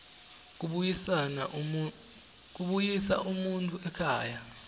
kubuyisa umuntfu ekhaya